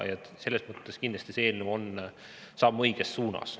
Selles mõttes kindlasti see eelnõu on samm õiges suunas.